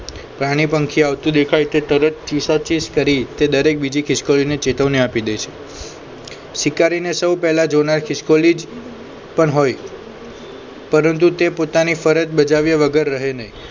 પ્રાણી પંખી આવતું દેખાય તે તરત ચીસાચીશ કરી તે દરેક બીજી ખિસકોલીને ચેતવણી આપી દે છે શિકારી ને સૌ પહેલા જોનાર ખિસકોલી જ પણ હોય પરંતુ તે પોતાની ફરજ બજાવ્યા વગર રહે નહીં.